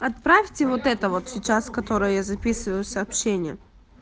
отправьте вот это вот сейчас который я записываю сообщение